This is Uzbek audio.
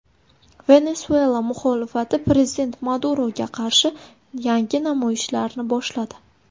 Venesuela muxolifati prezident Maduroga qarshi yangi namoyishlarni boshladi.